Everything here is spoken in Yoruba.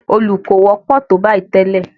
Òòlù kò wọ́pọ̀ tó bayìí tẹ́lẹ̀.